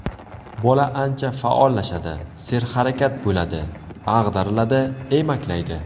Bola ancha faollashadi, serharakat bo‘ladi, ag‘dariladi, emaklaydi.